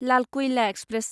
Lal Kuila express